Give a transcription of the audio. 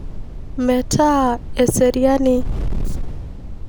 Metaa eseriani.